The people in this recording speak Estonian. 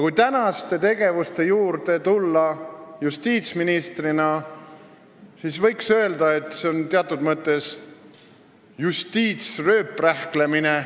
Kui tulla tema praeguse tegevuse juurde justiitsministrina, siis võiks öelda, et see on teatud mõttes justiitsrööprähklemine.